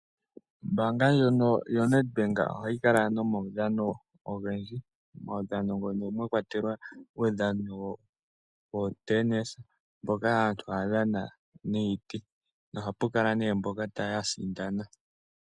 Ombaanga ndjono yoNed bank oha yi kala nomaudhano ogendji, omaudhano mbono mwa kwatelwa uudhano wo Tenis mboka aantu ha ya dhana niiti, na oha pu kala nee mboka ya sindana.